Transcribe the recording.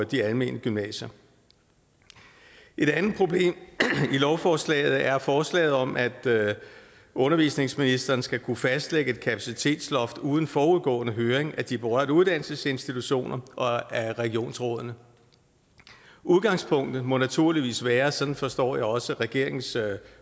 de almene gymnasier et andet problem i lovforslaget er forslaget om at undervisningsministeren skal kunne fastlægge et kapacitetsloft uden forudgående høring af de berørte uddannelsesinstitutioner og af regionsrådene udgangspunktet må naturligvis være sådan forstår jeg også regeringens